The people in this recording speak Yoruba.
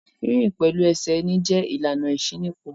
Rínrìn pẹ̀lú ẹsẹ̀ ẹni jẹ́ ìlànà ìṣínípò.